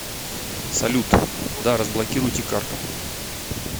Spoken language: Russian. салют да разблокируйте карту